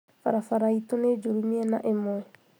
Barabara itũ nĩ njũru mĩena ĩmwe